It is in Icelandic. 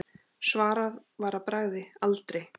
Svarað var að bragði: aldrei.